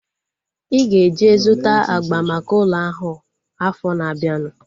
Ị ga-eje zụta agba maka ụlọ ahu afọ na-abianu